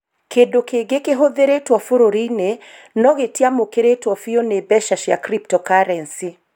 Kĩndũ kĩngĩ kĩhũthĩrĩtwo bũrũri-inĩ, no gĩtiamũkĩrirũo biũ nĩ mbeca cia cryptocurrency.